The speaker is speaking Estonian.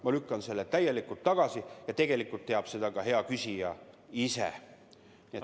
Ma lükkan selle täielikult tagasi ja tegelikult teab seda ka hea küsija ise.